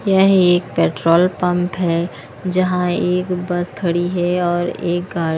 यह एक petrol pump है जहां एक बस खड़ी है और एक गा --